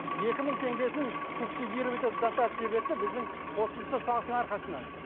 екі мың теңгесін субсидировать етіп дотация берсе біздің қосымша салықтың арқасынан